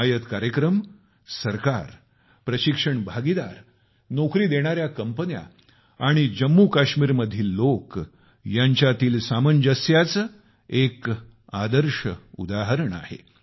हिमायत कार्यक्रम सरकार प्रशिक्षण भागीदार नोकरी देणाऱ्या कंपन्या आणि जम्मूकाश्मीरमधील लोक यांच्यात असलेल्या ताळमेळाचे एक आदर्श उदाहरण आहे